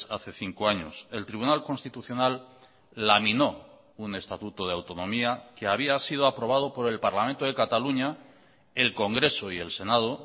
hace cinco años el tribunal constitucional laminó un estatuto de autonomía que había sido aprobado por el parlamento de cataluña el congreso y el senado